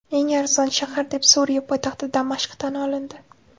Eng arzon shahar deb Suriya poytaxti Damashq tan olindi.